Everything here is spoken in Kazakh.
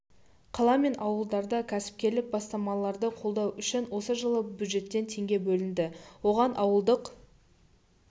қала мен ауылдарда кәсіпкерлік бастамаларды қолдау үшін осы жылы бюджеттен теңге бөлінді оған ауылдық